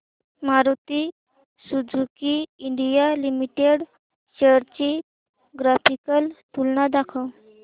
Maruti Suzuki India Limited shares ची graphical तुलना दाखव